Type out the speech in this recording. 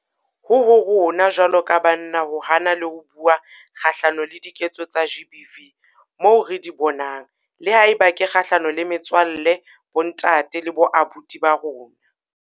Ho ho rona jwalo ka banna ho hana le ho bua kgahlano le diketso tsa GBV moo re di bonang, le haeba ke kgahlano le metswalle, bontate le boabuti ba rona.